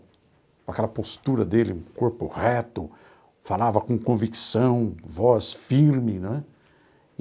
Com aquela postura dele, um corpo reto, falava com convicção, voz firme, né?